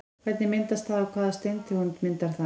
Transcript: Hvernig myndast það og hvaða steintegund myndar það?